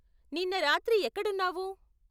నిన్న రాత్రి ఎక్కడున్నావు?